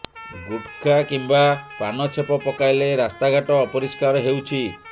ଗୁଟ୍ଖା କିମ୍ବା ପାନ ଛେପ ପକାଇଲେ ରାସ୍ତାଘାଟ ଅପରିଷ୍କାର ହେଉଛି